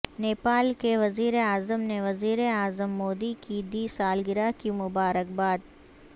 نیپال کے وزیراعظم نے وزیراعظم مودی کی دی سالگرہ کی مبارکباد